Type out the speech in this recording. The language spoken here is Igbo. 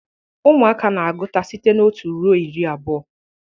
Ụmụaka na-agụta site na otu ruo iri abụọ